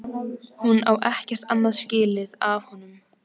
Hún á ekkert annað skilið af honum.